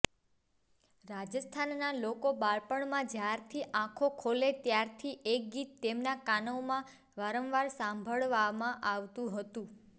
રાજસ્થાનના લોકો બાળપણમાં જ્યારથી આંખો ખોલે ત્યારથી એક ગીત તેમનાં કાનોમાં વારંવાર સાંભળવા મળતું હતું